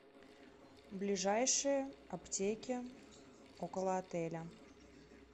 ближайшие аптеки около отеля